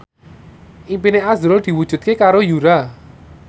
impine azrul diwujudke karo Yura